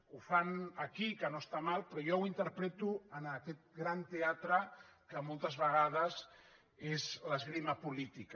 ho fan aquí que no està malament però jo ho interpreto en aquest gran teatre que moltes vegades és l’esgrima política